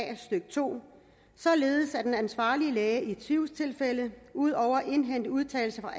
a stykke to således at den ansvarlige læge i tvivlstilfælde ud over at indhente udtalelser